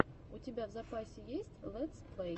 у тебя в запасе есть лэтс плэй